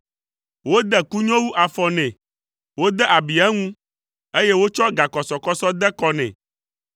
Wode kunyowu afɔ nɛ, wode abi eŋu, eye wotsɔ gakɔsɔkɔsɔ de kɔ nɛ,